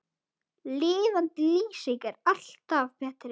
Lifandi lýsing er alltaf betri.